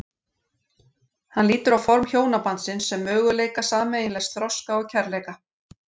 Hann lítur á form hjónabandsins sem möguleika sameiginlegs þroska og kærleika.